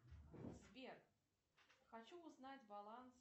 сбер хочу узнать баланс